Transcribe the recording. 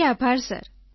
જી આભાર સર